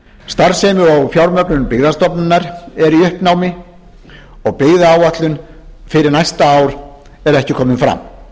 starfsemi og fjármögnun byggðastofnunar er í uppnámi og byggðaáætlun fyrir næsta ár er ekki komin fram